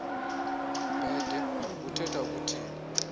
bhede ubuthetha ukuthini